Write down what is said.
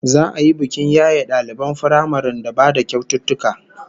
Za'a yi bikin yaye daliban firamaren da ba da kyaututtuka